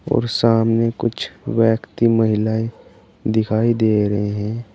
और सामने कुछ व्यक्ति महिलाए दिखाई दे रहे हैं।